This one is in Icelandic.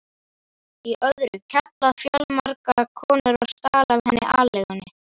í öðru, KEFLAÐI FJÖRGAMLA KONU OG STAL AF HENNI ALEIGUNNI